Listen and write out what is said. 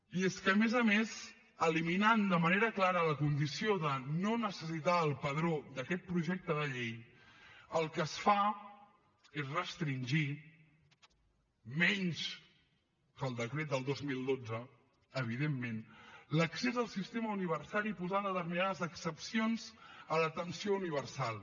i és que a més a més eliminant de manera clara la condició de no necessitar el padró d’aquest projecte de llei el que es fa és restringir menys que el decret de dos mil dotze evidentment l’accés al sistema universal i posar determinades excepcions a l’atenció universal